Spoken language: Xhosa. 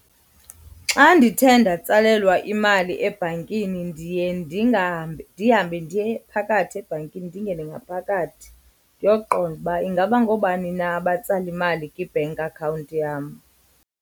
Xa ndithe ndatsalelwa imali ebhankini ndiye ndihambe ndiye phakathi ebhankini ndingene ngaphakathi ndiyoqonda uba ingaba ngoobani na abatsala imali kwi-bank account yam.